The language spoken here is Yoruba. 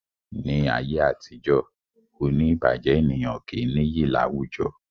Ní ayé àtijó, oní ìbàjé ènìyàn kì í nìyí láwùjọ